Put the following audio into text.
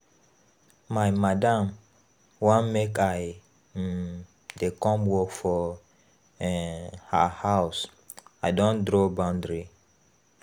My madam want make I um dey come work for um her house, I don draw boundary